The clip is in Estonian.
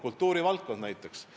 Toon kultuurivaldkonna ka näiteks.